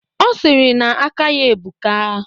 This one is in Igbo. Ọ sịrị na aka ya ebuka